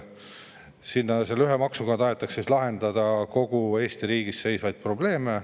Selle ühe maksuga tahetakse lahendada kogu Eesti riigi ees seisvaid probleeme.